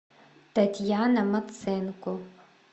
татьяна маценко